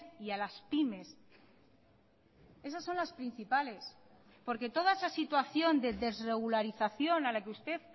y a las pymes esas son las principales porque toda esa situación de desregularización a la que usted